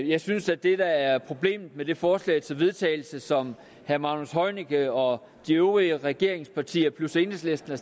jeg synes at det der er problemet med det forslag til vedtagelse som herre magnus heunicke og de øvrige regeringspartier plus enhedslisten